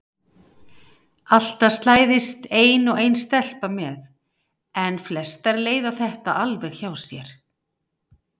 Alltaf slæðist ein og ein stelpa með en flestar leiða þetta alveg hjá sér.